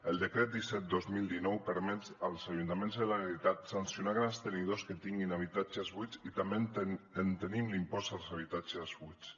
el decret disset dos mil dinou permet als ajuntaments i a la generalitat sancionar grans tenidors que tinguin habitatges buits i també tenim l’impost als habitatges buits